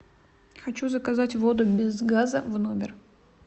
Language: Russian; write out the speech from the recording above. хочу заказать воду без газа в номер